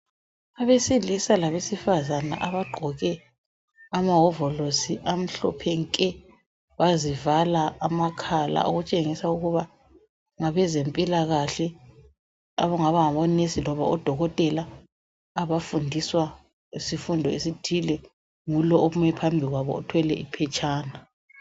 Abesilisa labesifazana abagqoke amawovolosi amhlophe nke bazivala amakhala okutshengisa ukuba ngabezempilakahle okungaba ngomongikazi kumbe odokotela abafundiswa isifundo esithile ngulo ome phambi kwabo othwele iphetshana.